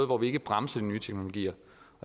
hvor vi ikke bremser de nye teknologier